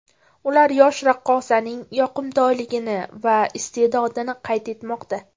Ular yosh raqqosaning yoqimtoyligini va iste’dodini qayd etmoqda.